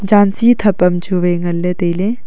janchi thap am chuwai ngan ley tailey.